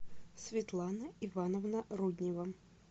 светлана ивановна руднева